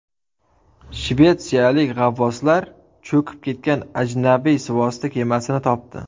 Shvetsiyalik g‘avvoslar cho‘kib ketgan ajnabiy suvosti kemasini topdi.